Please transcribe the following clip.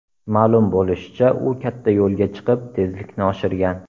Ma’lum bo‘lishicha, u katta yo‘lga chiqib, tezlikni oshirgan.